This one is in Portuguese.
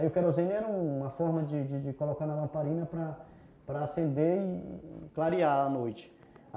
Aí o querosene era uma forma de de colocar na lamparina para acender e e clarear a noite.